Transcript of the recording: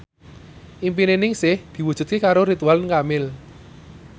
impine Ningsih diwujudke karo Ridwan Kamil